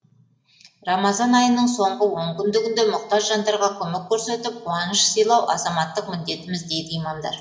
рамазан айының соңғы он күндігінде мұқтаж жандарға көмек көрсетіп қуаныш сыйлау азаматтық міндетіміз дейді имамдар